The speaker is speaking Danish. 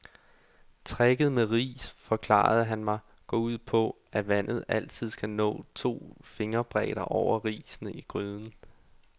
Tricket med ris, forklarede han mig, går ud på, at vandet altid skal nå to fingerbredder over risene i gryden.